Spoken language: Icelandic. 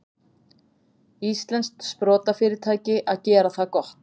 Íslenskt sprotafyrirtæki að gera það gott